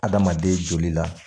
Adamaden joli la